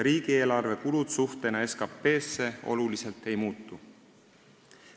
Riigieelarve kulud suhtena SKT-sse oluliselt ei muutu.